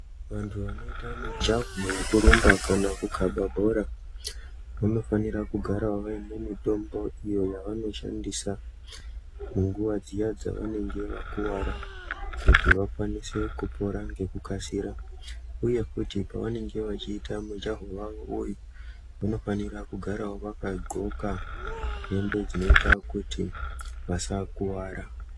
Vantu vanoita mijaho yekurumba kana kukaba bhora vanofanira kugara vaine mutombo iyo yavanoshandisa munguwa dziya dzavanenge vakuwara kuti vakwanise kupora ngekukasira . Uye kuti pavanenge vachiita mujaho wawo uyu vanofanira kugara vakadxoka hembe dzinoita kuti vasakuwara.